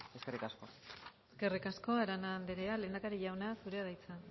de mira eskerrik asko eskerrik asko arana andrea lehendakari jauna zurea da hitza